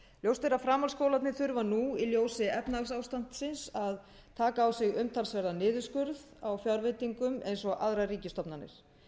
ljóst er að framhaldsskólarnir þurfa nú í ljósi efnahagsástandsins að taka á sig umtalsverðan niðurskurð á fjárveitingum eins og aðrar ríkisstofnanir